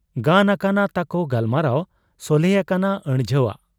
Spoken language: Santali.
ᱜᱟᱱ ᱟᱠᱟᱱᱟ ᱛᱟᱠᱚ ᱜᱟᱞᱢᱟᱨᱟᱣ ᱾ ᱥᱚᱞᱦᱮ ᱟᱠᱟᱱᱟ ᱟᱹᱲᱡᱷᱟᱹᱣᱟᱜ ᱾